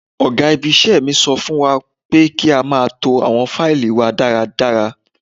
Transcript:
Ọ̀gá ibi-iṣẹ́ mi sọ fún wa pé kí a máa to àwọn faili wa dáradára.